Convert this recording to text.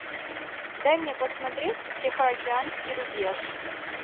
дай мне посмотреть тихоокеанский рубеж